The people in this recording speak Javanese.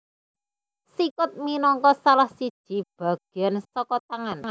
Sikut minangka salah siji bagéan saka tangan